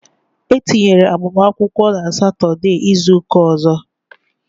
E tinyera agbamakwụkwọ n' Satọdee izuka ọzọ